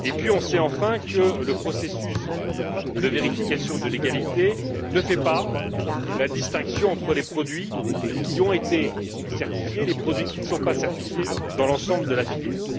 Et puis, on sait enfin que le processus de vérification de légalité ne fait pas la distinction entre les produits qui ont été certifiés et les produits qui ne sont pas certifiés dans l'ensemble de la filière.